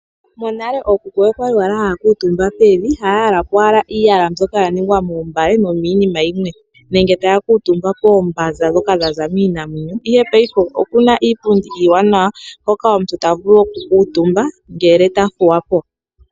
Monale ookuku oya li haya kuutumba pevi, haya yala po owala iiyala mbyoka ya ningwa moombale nomiinima yimwe nenge taya kuutumba poombanza ndhoka dha za kiinamwenyo. Ihe paife oku na iipundi iiwanawa hoka omuntu ta vulu okukuutumba ngele ta thuwa po.